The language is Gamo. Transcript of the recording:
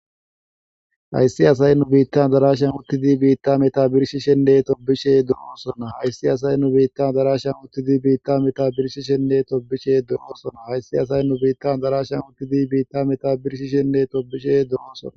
Hayissi asay nu bitan adarashian uttidi bita meta birshishenne tobbishe deosonna hayissi asay nu bitan adarashian uttidi bita meta birshishenne tobbishe deosonna hayissi asay nu bitan adarashian uttidi bita meta birshishenne tobbishe deosonna.